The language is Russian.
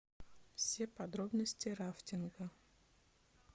все подробности рафтинга